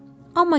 Amma gec idi.